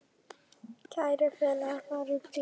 Kæri félagi, far í friði.